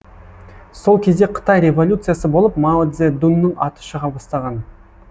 сол кезде қытай революциясы болып мао цзэдунның аты шыға бастаған